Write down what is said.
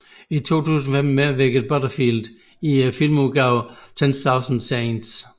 I 2015 medvirkede Butterfield i filmudgaven Ten Thousand Saints